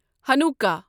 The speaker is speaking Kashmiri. ہَنُکہ